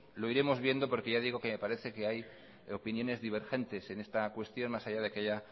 lo iremos viendo porque ya digo que me parece que hay opiniones divergentes en esta cuestión más allá de que haya